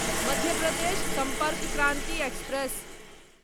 Madhya Pradesh Sampark Kranti express